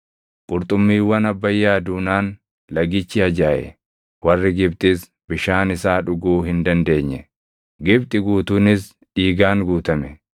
Qurxummiiwwan Abbayyaa duunaan lagichi ajaaʼe; warri Gibxis bishaan isaa dhuguu hin dandeenye. Gibxi guutuunis dhiigaan guutame.